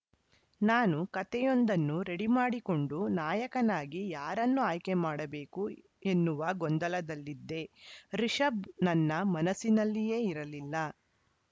ನಾನು ಕತೆಯೊಂದನ್ನು ರೆಡಿ ಮಾಡಿಕೊಂಡು ನಾಯಕನಾಗಿ ಯಾರನ್ನು ಆಯ್ಕೆ ಮಾಡಬೇಕು ಎನ್ನುವ ಗೊಂದಲದಲ್ಲಿದ್ದೆ ರಿಷಬ್‌ ನನ್ನ ಮನಸ್ಸಿನಲ್ಲಿಯೇ ಇರಲಿಲ್ಲ